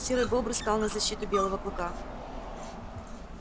серый бобр стал на защиту белого клыка